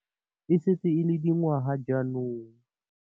E setse e le dingwaga jaanong.